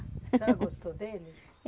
A senhora gostou dele?